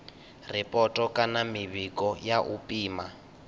ripoto kana mivhigo ya u pima